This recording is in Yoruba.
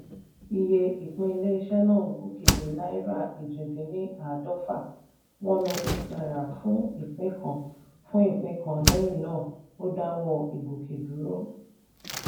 iye ìpín ilé-iṣẹ́ náà gòkè dé náírà èjì dín ní àádọ́fà(n one hundred eight ) fún ìpín kan fún ìpín kan lẹ́yìn náà ó dáwọ́ ìgòkè dúró.